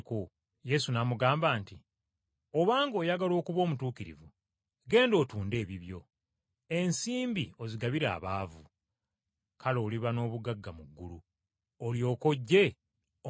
Yesu n’amugamba nti, “Obanga oyagala okuba omutuukirivu genda otunde ebibyo, ensimbi ozigabire abaavu, kale oliba n’obugagga mu ggulu, olyoke ojje ongoberere.”